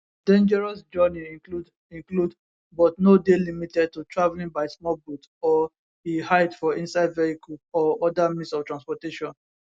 dangerous journey include include but no dey limited to travelling by small boat or e hide for inside vehicle or oda means of transportation